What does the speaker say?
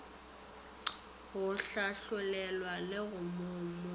go hlagolelwa le ka mono